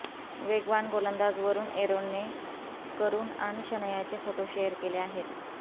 वेगवान गोलंदाज वरुण एरोनने करुण आणि शनायाचे फोटो शेअर केले आहेत